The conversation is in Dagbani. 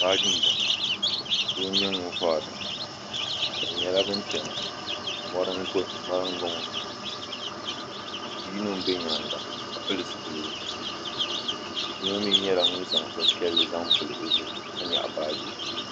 Baaji n bɔŋɔ doo nyɛ ŋuni vori li bi nyɛla bani chɛna mori n bɔŋɔ bi yino n bɛ yɛanga ka pili zupiligu yino mi nyɛla ŋuni zaŋ bini piɛlli zaŋ pili o zuɣu ka nyaɣi baaji.